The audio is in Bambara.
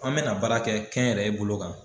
An bɛna baara kɛ kɛnyɛrɛye bolo kan.